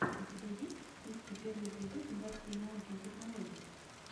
у тебя в списке есть первый эпизод новостей науки и технологий